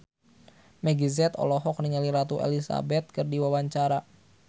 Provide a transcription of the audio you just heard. Meggie Z olohok ningali Ratu Elizabeth keur diwawancara